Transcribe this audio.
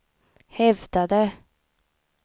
hävdade